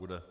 Bude.